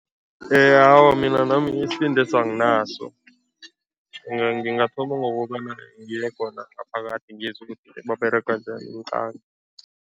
Awa, mina nami isibendeso anginaso. Ngingathoma ngokobana ngiye khona ngaphakathi ngizwe ukuthi baberega njani